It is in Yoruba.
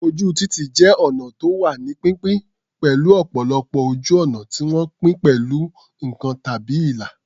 Ojú títì jẹ́ ọnà tó wà ní pínpín, pẹ̀lú ọ̀pọ̀lọpọ̀ ojú ọ̀nà tí wọ́n pín pẹ̀lú nǹkan tàbí ìlà.